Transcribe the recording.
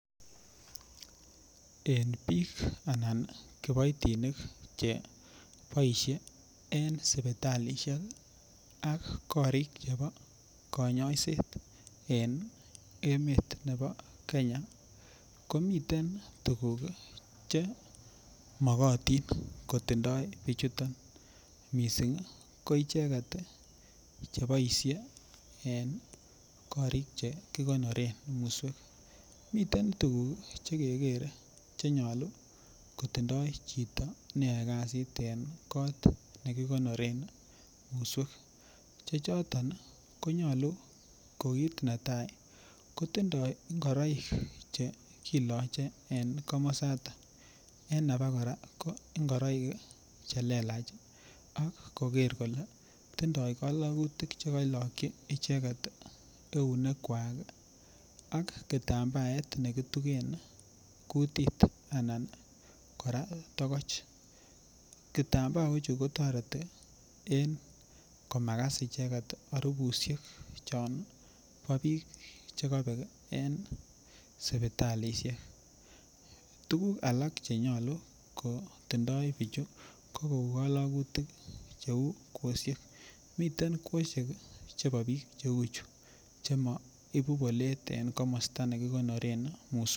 En biik anan kiboitinik che boisie en sipitalisiek ak korik che bo kanyoiset en emet ne bo kenya komiten tuguk chemokotin kotindoo bichuton missing ii ko icheket cheboisie en korik chekikonoren musweek miten tuguk chekekere chenyolu kotindoi chito neyoe kasit en kot ne kikonoreen musweek che choton ko kit netai kotindoi ngoroik chekiloche en komosaton en abokora ko ngoroik che leelach ak koker kole tindoo kolokutik chekoilokyi icheket eunekwak ak kitambaet nekituken kutit, anan kora tokoch ,kitambaochu kotoret komakas kora harubusiek chombo biik chekobek en sipitalisiek ,tuguk alak chenyolu kotindoi bichu ko kalokutik cheu kwosiek miten kwaosiek chebo biik cheu chuu chemo ibu bolet en komosta nekikonoren musweek.